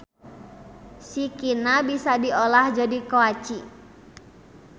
Sikina bisa diolah jadi koaci.